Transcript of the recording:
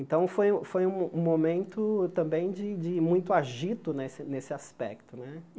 Então, foi um foi um momento também de de muito agito nesse nesse aspecto né.